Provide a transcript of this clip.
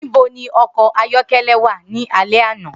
Nibo ni ọkọ ayọkẹlẹ wa ni alẹ ana?